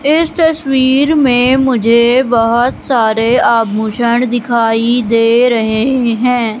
इस तस्वीर में मुझे बहुत सारे आभूषण दिखाई दे रहे हैं।